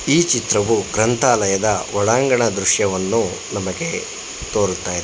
ಈ ಚಿತ್ರವು ಗ್ರಂಥಾಲಯದ ಒಳಾಂಗಣ ದೃಶ್ಯವನ್ನು ನಮಗೆ ತೋರುತಾ.